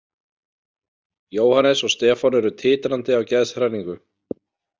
Jóhannes og Stefán eru titrandi af geðshræringu.